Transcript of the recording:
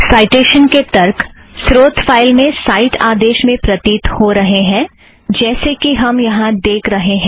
citation के तर्क स्रोत फ़ाइल में साइट आदेश में प्रतीत हो रहें हैं जैसे कि हम यहाँ देख रहें हैं